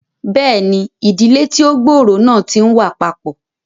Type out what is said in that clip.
Bẹẹni, ìdílé tí o gb'ọrọ náà ti n wá papọ